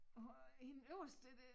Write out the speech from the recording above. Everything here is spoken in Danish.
Og hende øverst dér det